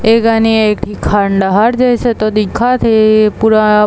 ऐ गने एक ठी खंडहर जइसे तो दिखत हे पूरा--